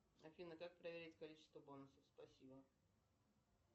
афина как проверить количество бонусов спасибо